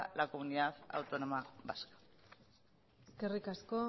al comunidad autónoma vasca eskerrik asko